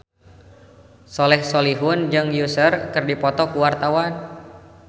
Soleh Solihun jeung Usher keur dipoto ku wartawan